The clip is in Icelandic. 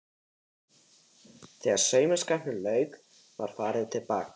Þegar saumaskapnum lauk var farið að baka.